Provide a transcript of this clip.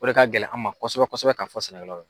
O de ka gɛlɛ an ma kosɛbɛ kosɛbɛ ka fɔ sɛnɛkɛlaw ye.